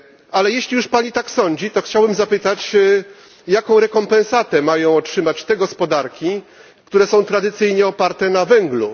Ale jeśli już Pani tak sądzi, to chciałbym zapytać, jaką rekompensatę mają otrzymać te gospodarki, które są tradycyjnie oparte na węglu?